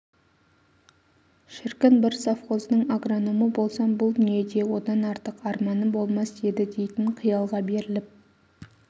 шіркін бір совхоздың агрономы болсам бұл дүниеде одан артық арманым болмас еді дейтін қиялға беріліп